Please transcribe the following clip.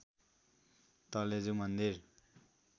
तलेजु मन्दिर